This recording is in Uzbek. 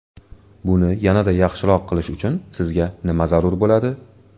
Buni yanada yaxshiroq qilish uchun sizga nima zarur bo‘ladi?